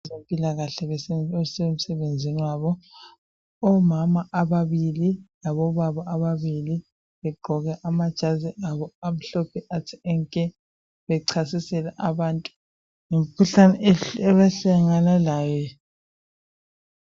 Abezempilakahle abase msebenzini wabo Omama ababili labo baba ababili begqoke amajazi abo amhlophe athe nke bechasisela abantu ngemkhuhlane abahlangana layo.